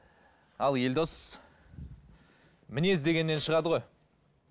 ал елдос мінез дегеннен шығады ғой